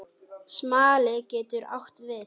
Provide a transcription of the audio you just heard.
Smali getur átt við